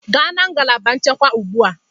Gaa na ngalaba nchekwa ugbu a.